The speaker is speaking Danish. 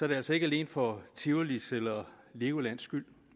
det altså ikke alene for tivolis eller legolands skyld